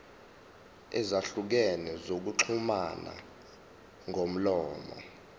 ezahlukene zokuxhumana ngomlomo